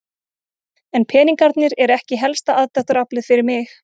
En peningarnir eru ekki helsta aðdráttaraflið fyrir mig.